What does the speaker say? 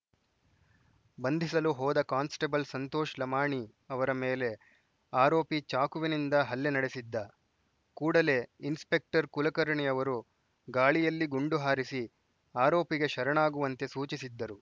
ಬಂಧಿಸಲು ಹೋದ ಕಾನ್ಸ್‌ಟೇಬಲ್‌ ಸಂತೋಷ್‌ ಲಮಾಣಿ ಅವರ ಮೇಲೆ ಆರೋಪಿ ಚಾಕುವಿನಿಂದ ಹಲ್ಲೆ ನಡೆಸಿದ್ದ ಕೂಡಲೇ ಇನ್ಸ್‌ಪೆಕ್ಟರ್‌ ಕುಲಕರ್ಣಿ ಅವರು ಗಾಳಿಯಲ್ಲಿ ಗುಂಡು ಹಾರಿಸಿ ಆರೋಪಿಗೆ ಶರಣಾಗುವಂತೆ ಸೂಚಿಸಿದ್ದರು